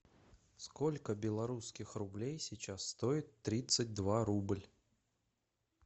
сколько белорусских рублей сейчас стоит тридцать два рубль